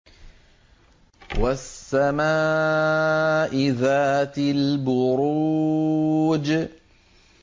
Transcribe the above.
وَالسَّمَاءِ ذَاتِ الْبُرُوجِ